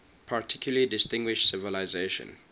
particularly distinguished civilization